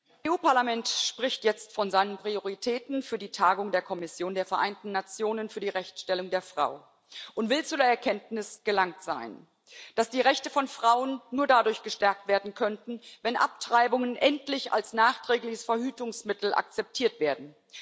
Frau Präsidentin! Das EU Parlament spricht jetzt von seinen Prioritäten für die Tagung der Kommission der Vereinten Nationen für die Rechtsstellung der Frau und will zu der Erkenntnis gelangt sein, dass die Rechte von Frauen nur dadurch gestärkt werden könnten, wenn Abtreibungen endlich als nachträgliches Verhütungsmittel akzeptiert werden